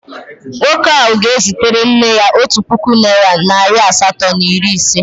Nwoke ahụ ga-ezitere nne ya otu puku naịra nari asatọ na iri ise.